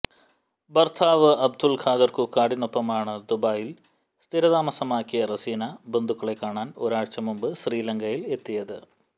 ഭർത്താവ് അബ്ദുൽ ഖാദർ കുക്കാടിനൊപ്പമാണ് ദുബായിൽ സ്ഥിര താമസമാക്കിയ റസീന ബന്ധുക്കളെ കാണാൻ ഒരാഴ്ച മുമ്പ് ശ്രീലങ്കയിൽ എത്തിയത്